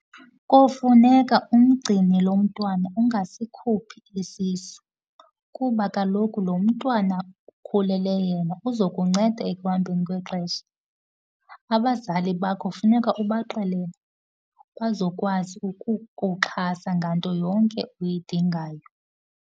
Kofuneka umgcine lo mntwana, ungasikhuphi isisu kuba kaloku lo mntwana ukhulele yena uzokucenda ekuhambeni kwexesha. Abazali bakho funeka ubaxelele, bazokwazi ukukuxhasa nganto yonke uyidingayo.